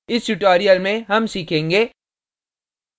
इस tutorial में हम सीखेंगे